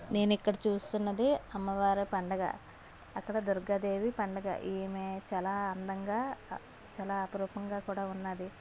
నేనిక్కడ చూస్తున్నదే అమ్మవారి పండగ అక్కడ దుర్గాదేవి పండగ ఈమె చాలా అందంగా అ చాలా అపురూపంగా కూడా ఉన్నది.